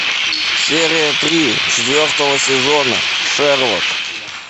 серия три четвертого сезона шерлок